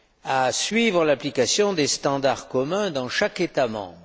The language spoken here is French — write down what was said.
à suivre l'application des standards communs dans chaque État membre.